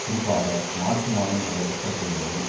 குறிப்பாக மார்ச் மாதம் நடைபெற்ற தேர்தலில்